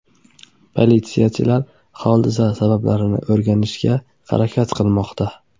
Politsiyachilar hodisa sabablarini aniqlashga harakat qilmoqda.